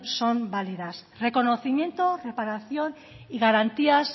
son válidas reconocimiento reparación y garantías